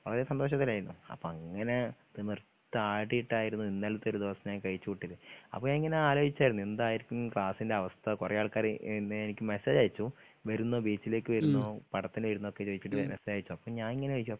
വളരെ സന്തോഷത്തിലായിരുന്നു അപ്പങ്ങനെ തിമിർത്താടിട്ടായിരുന്നു ഇന്നൽത്തെ ഒരു ദിവസം ഞാൻ കഴിച്ച്‌ കൂട്ടിയത് അപ്പൊ ഞാനിങ്ങനെ ആലോയ്ച്ചായിരുന്നു എന്തായിരിക്കും ക്ലാസ്സിന്റെ അവസ്ഥ കൊറേ ആൾക്കാര് എനിക്ക് മെസേജ് അയച്ചു വെരുന്നോ ബീച്ചിലേക്ക് വെരുന്നോ പടത്തിന് വെരുന്നോക്കെ ചോയിച്ചിട്ട് മെസേജ് അയച്ചു അപ്പൊ ഞാനിങ്ങനെ ചോയിച്ചു